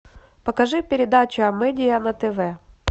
покажи передачу амедиа на тв